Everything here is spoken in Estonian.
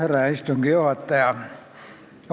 Härra istungi juhataja!